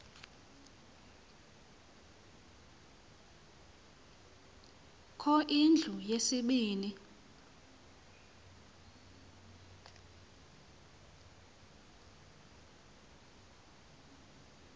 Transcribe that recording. kho indlu yesibini